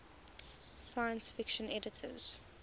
science fiction editors